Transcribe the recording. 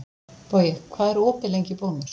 Bogi, hvað er opið lengi í Bónus?